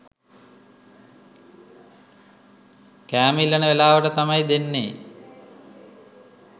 කෑම ඉල්ලන වෙලාවට තමයි දෙන්නේ.